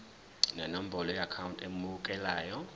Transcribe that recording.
nenombolo yeakhawunti emukelayo